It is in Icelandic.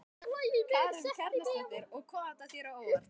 Karen Kjartansdóttir: Og kom þetta þér á óvart?